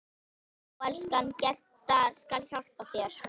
Já, elskan, Gedda skal hjálpa þér